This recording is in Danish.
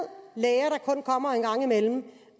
og kommer en gang imellem